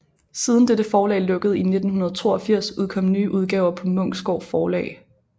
Siden dette forlag lukkede i 1982 udkom nye udgaver på Munksgaard Forlag